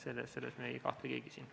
Selles me ei kahtle keegi siin.